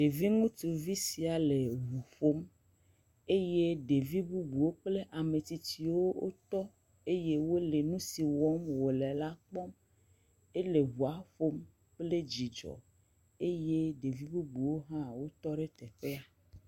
Ɖevi ŋutsuvi sia le ŋu ƒom eye ɖevi bubuwo kple ametsitsiwo tɔ eye wolé nusi wɔm wole la kpɔm. Ele ŋua ƒom kple dzidzɔ eye ɖevi bubuwo hã le teƒea.